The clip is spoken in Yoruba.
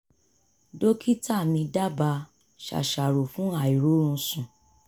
dókítà mi dábàá ṣàṣàrò fún àìróorunsùn